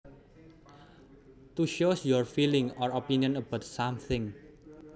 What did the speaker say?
To shows your feeling or opinion about something